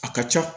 A ka ca